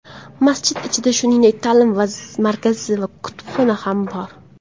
Masjid ichida, shuningdek, ta’lim markazi va kutubxona ham bor.